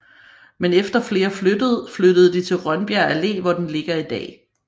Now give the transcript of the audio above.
Men efter flere flyttede flyttede de til Rønbjerg Alle hvor den ligger i dag